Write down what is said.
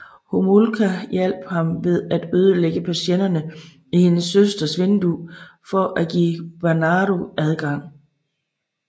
Homolka hjalp ham ved at ødelægge persiennerne i hendes søsters vindue for at give Bernardo adgang